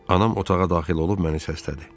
Anam otağa daxil olub məni səslədi.